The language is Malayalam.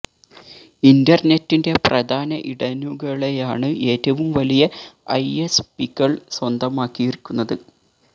ഇന്റർനെറ്റിന്റെ പ്രധാന ഇടനുകളെയാണ് ഏറ്റവും വലിയ ഐ എസ് പികൾ സ്വന്തമാക്കിയിരിക്കുന്നത്